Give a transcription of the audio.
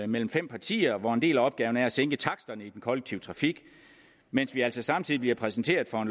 mellem fem partier hvor en del af opgaven er at sænke taksterne i den kollektive trafik mens vi altså samtidig bliver præsenteret for